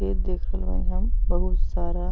ए देखल बानी हम बहुत सारा --